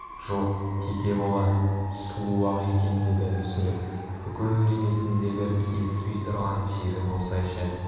жоқ теке болар сұлу-ақ екен деді мүсіреп бүкіл денесінде бір келіспей тұрған жері болсайшы